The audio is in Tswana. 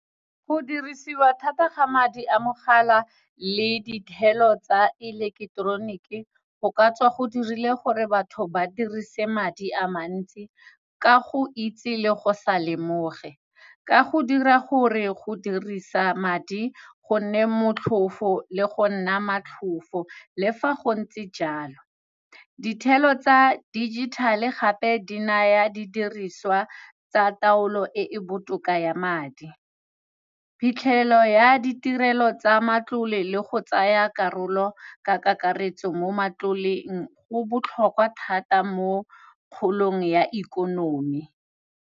Go dirisiwa thata ga madi a mogala le dithelo tsa eleketeroniki, go ka tswa go dirile gore batho ba dirise madi a mantsi, ka go itse le go sa lemoge. Ka go dira gore go dirisa madi go nne motlhofo le go nna matlhofo, le fa go ntse jalo. Dithelo tsa digital-e gape di naya didiriswa tsa taolo e e botoka ya madi. Phitlhelelo ya ditirelo tsa matlole le go tsaya karolo ka kakaretso mo matloleng go botlhokwa thata mo kgolong ya ikonomi.